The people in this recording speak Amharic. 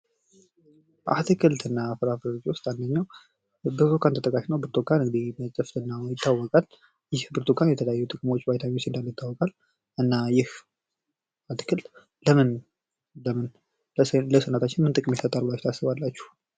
አትክልት እና ፍራፍሬዎች ውስጥ አንድኛው ብርቱካን ተጠቃሽ ነው። ብርቱካን ጥፍጥናውም ይታወቃል። ይህ ብርቱካን የተለያዩ ጥቅሞች እንዳሉት ይታወቃል እና ይህ አትክልት ለምን ለምን ለሰውነታችን ጥቅም ይሰጣል ብላችሁ ታስባላችሁ?